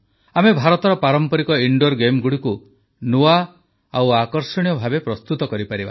ଆମେ ଭାରତର ପାରମ୍ପରିକ ଇନଡୋର୍ ଗେମଗୁଡ଼ିକୁ ନୂଆ ଓ ଆକର୍ଷଣୀୟ ଭାବେ ପ୍ରସ୍ତୁତ କରିପାରିବା